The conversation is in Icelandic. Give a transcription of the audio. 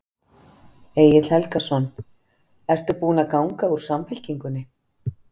Egil Helgason: Ertu búin að ganga úr Samfylkingunni?